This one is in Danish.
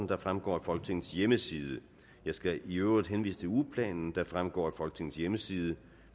der fremgår af folketingets hjemmeside jeg skal i øvrigt henvise til ugeplanen der fremgår af folketingets hjemmeside